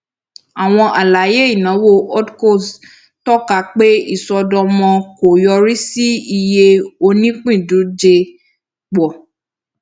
àwọn alaye ìnáwó holdcos tọka pé ìṣọdọmọ kò yorì sí iye onípíndójẹ pọ